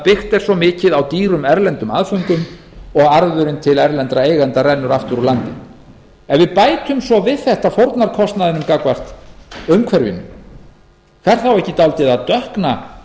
byggt er svo mikið á dýrum erlendum aðföngum og arðurinn til erlendra eigenda rennur aftur úr landi ef við bætum svo við þetta fórnarkostnaðinum gagnvart umhverfinu fer þá ekki dálítið að dökkna